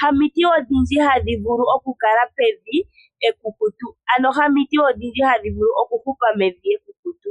ha miti odhindji hadhi vulu okukala pevi ekukutu. Ano ha miti odhindji hadhi vulu oku hupa mevi ekukutu.